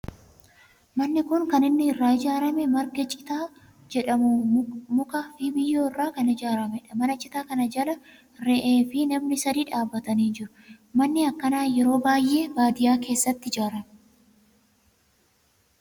Manni kun kan inni irraa ijaarame marga citaa jedhamu, mukaa fi biyyoo irraa kan ijaaramedha. Mana citaa kana jala re'ee fi namni sadi dhaabbatanii jiru. Manni akkanaa yeroo baayyee baadiyaa keessatti ijaarama.